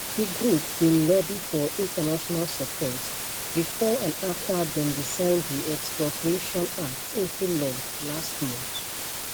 di group bin lobby for international support bifor and afta dem bin sign di expropriation act into law last month